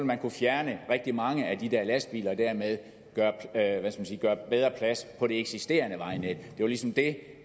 man kunne fjerne rigtig mange af de der lastbiler og dermed gøre bedre plads på det eksisterende vejnet det var ligesom det